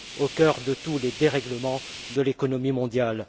au cœur de tous les dérèglements de l'économie mondiale.